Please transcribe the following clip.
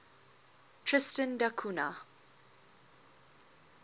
tristan da cunha